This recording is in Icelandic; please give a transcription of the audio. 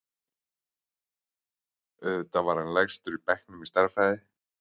Auðvitað var hann lægstur í bekknum í stærðfræði.